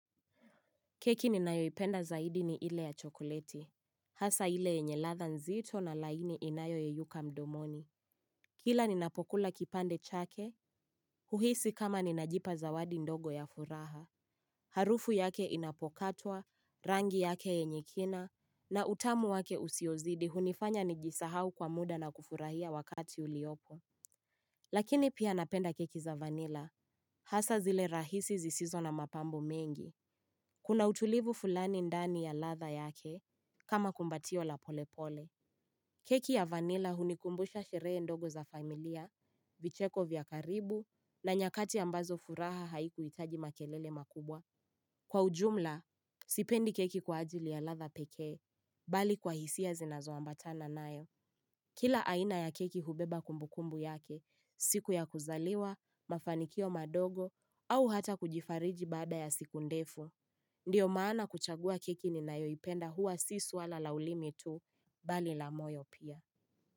Keki ninayoipenda zaidi ni ile ya chokoleti. Hasa ile yenye ladha nzito na laini inayoyeyuka mdomoni. Kila ninapokula kipande chake, huhisi kama ninajipa zawadi ndogo ya furaha. Harufu yake inapokatwa, rangi yake yenye kina, na utamu wake usiozidi hunifanya nijisahau kwa muda na kufurahia wakati uliopo. Lakini pia napenda keki za vanila. Hasa zile rahisi zisizo na mapambo mengi. Kuna utulivu fulani ndani ya ladha yake, kama kumbatio la polepole. Keki ya vanila hunikumbusha sheree ndogo za familia, vicheko vya karibu, na nyakati ambazo furaha haikuitaji makelele makubwa. Kwa ujumla, sipendi keki kwa ajili ya ladha pekee, bali kwa hisia zinazoambatana nayo. Kila aina ya keki hubeba kumbukumbu yake, siku ya kuzaliwa, mafanikio madogo, au hata kujifariji baada ya siku ndefu. Ndiyo maana kuchagua keki ninayoipenda huwa si suala la ulimi tu bali la moyo pia.